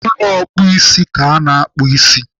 N'ụlọ ọkpụisi ka ana akpụ ịsị.